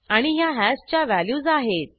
आणि ह्या हॅशच्या व्हॅल्यूज आहेत